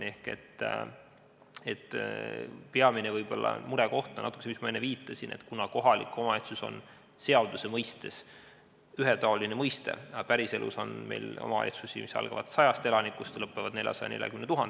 Võib-olla on peamine murekoht see, millele ma enne viitasin, et seaduse mõistes on kohalik omavalitsus ühetaoline, aga päriselus on meil omavalitsusi, millest väikseimas on elanikke sadakond ja suurimas 440 000.